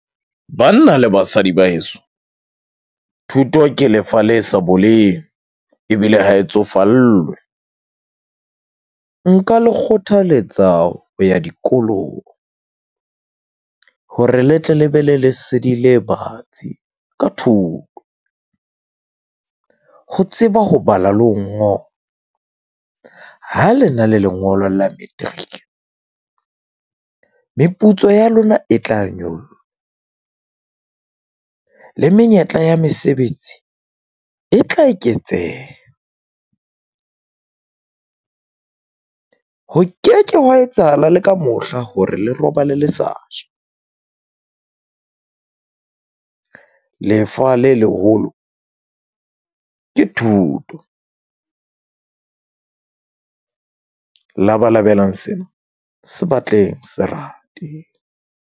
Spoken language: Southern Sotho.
Banna le basadi ba heso thuto ke lefa le sa boleng ebile ha e tsofallwe. Nka le kgothaletsa ho ya dikolong hore le tle le be le lesedi le batsi ka thuto. Ho tseba ho bala le ho ngola. Ha le na le lengolo la matric meputso ya lona e tla nyollwa le menyetla ya mesebetsi e tla eketseha . Ho ke ke hwa etsahala le ka mohla hore le robale le sa ja . Lefa le leholo ke thuto . Labalabelang sena se batleng se rate.